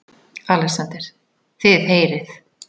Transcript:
ALEXANDER: Þið heyrið!